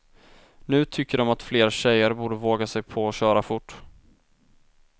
Nu tycker de att fler tjejer borde våga sig på att köra fort.